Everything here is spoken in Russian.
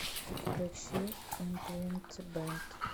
сбер включи импринтбэнд